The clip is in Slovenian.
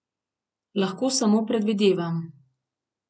Lahko samo predvidevam.